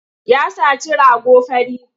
Ya saci rago fari.